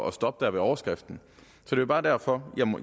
at stoppe der ved overskriften det er bare derfor